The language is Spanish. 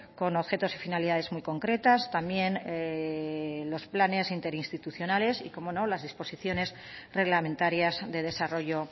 con objetos y finalidades muy concretas también los planes interinstitucionales y cómo no las disposiciones reglamentarias de desarrollo